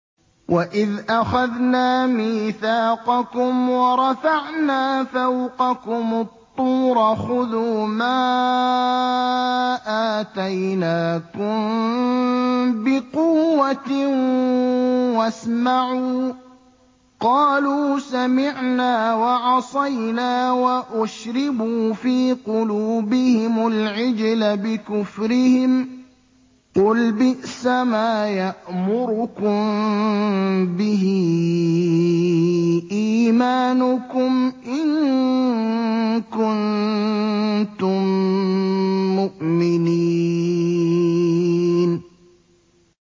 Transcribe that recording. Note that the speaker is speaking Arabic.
وَإِذْ أَخَذْنَا مِيثَاقَكُمْ وَرَفَعْنَا فَوْقَكُمُ الطُّورَ خُذُوا مَا آتَيْنَاكُم بِقُوَّةٍ وَاسْمَعُوا ۖ قَالُوا سَمِعْنَا وَعَصَيْنَا وَأُشْرِبُوا فِي قُلُوبِهِمُ الْعِجْلَ بِكُفْرِهِمْ ۚ قُلْ بِئْسَمَا يَأْمُرُكُم بِهِ إِيمَانُكُمْ إِن كُنتُم مُّؤْمِنِينَ